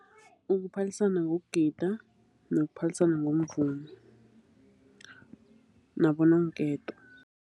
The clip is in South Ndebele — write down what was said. Ukuphalisana ngokugida nokuphalisana ngomvumo nabononketo.